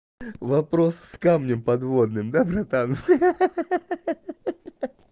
вопрос с камнем подводным да братан ха-ха